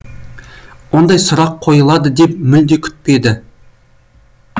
ондай сұрақ қойылады деп мүлде күтпеді